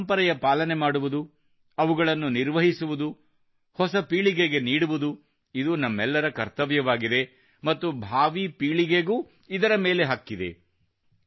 ನಮ್ಮ ಪರಂಪರೆಯ ಪಾಲನೆ ಮಾಡುವುದು ಅವುಗಳನ್ನು ನಿರ್ವಹಿಸುವುದು ಹೊಸ ಪೀಳಿಗೆಗೆ ನೀಡುವುದು ಇದು ನಮ್ಮೆಲ್ಲರ ಕರ್ತವ್ಯವಾಗಿದೆ ಮತ್ತು ಭಾವೀಪೀಳಿಗೆಗೂ ಇದರ ಮೇಲೆ ಹಕ್ಕಿದೆ